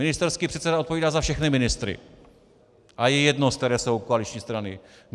Ministerský předseda odpovídá za všechny ministry a je jedno, z které jsou koaliční strany.